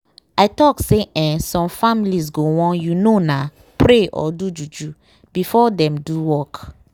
i talk say eeh some families go wan you know na pray or do juju before dem do work.